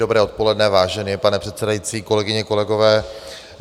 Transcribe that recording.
Dobré odpoledne, vážený pane předsedající, kolegyně, kolegové.